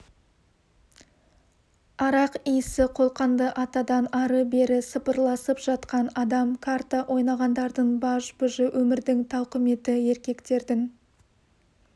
арақ иісі қолқаңды атады ары бері сапырылысып жатқан адам карта ойнағандардың баж-бұжы өмірдің тауқыметі еркектердің